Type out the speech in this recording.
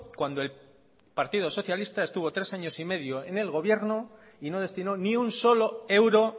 cuando el partido socialista estuvo tres años y medio en el gobierno y no destino ni un solo euro